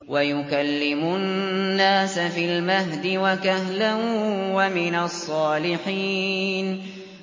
وَيُكَلِّمُ النَّاسَ فِي الْمَهْدِ وَكَهْلًا وَمِنَ الصَّالِحِينَ